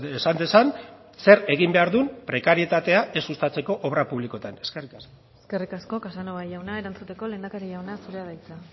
esan dezan zer egin behar duen prekarietatea ez sustatzeko obra publikoetan eskerrik asko eskerrik asko casanova jauna erantzuteko lehendakari jauna zurea da hitza